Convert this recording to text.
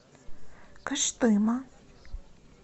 кыштыма